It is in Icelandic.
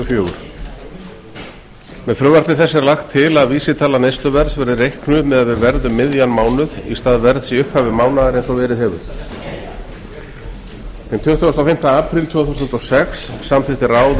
fjögur með frumvarpi þessu er lagt til að vísitala neysluverðs verði reiknuð miðað við verð um miðjan mánuð í stað verðs í upphafi mánaðar eins og verið hefur hinn tuttugasta og fimmta apríl tvö þúsund og sex samþykkti ráð